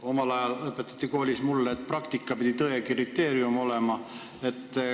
Omal ajal õpetati mulle koolis, et praktika pidi tõe kriteerium olema.